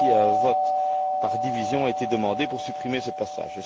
Ainsi, un vote par division a été demandé pour supprimer ce passage.